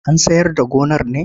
An sayar da gonar ne?